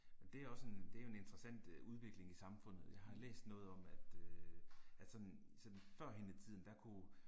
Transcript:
Det er også en det er jo en interessant øh udvikling i samfundet jeg har læst noget om at øh at sådan sådan førhen i tiden der kunne